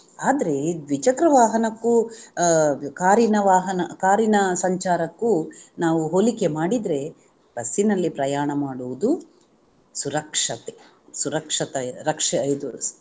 ಆದ್ರೆ ಈ ದ್ವಿಚಕ್ರ ವಾಹನಕ್ಕೂ ಅಹ್ ಕಾರಿನ ವಾಹನ ಕಾರಿನ ಸಂಚಾರಕ್ಕೂ ನಾವು ಹೋಲಿಕೆ ಮಾಡಿದ್ರೆ ಬಸ್ಸಿನಲ್ಲಿ ಪ್ರಯಾಣ ಮಾಡುವುದು ಸುರಕ್ಷತೆ ಸುರಕ್ಷತ~ ರಕ್ಷೆ ಇದು